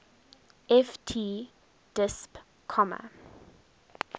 ft disp comma